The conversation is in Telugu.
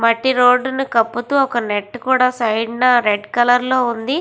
మట్టి రోడ్డు ను కపుతూ ఒక నెట్ కూడా సైడునా రెడ్ కలర్ లో ఉంది.